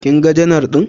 Kaga janar ɗin?